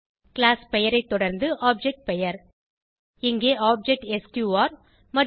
class பெயரை தொடர்ந்து object பெயர் இங்கே ஆப்ஜெக்ட் எஸ்கியூஆர் மற்றும் ஒரு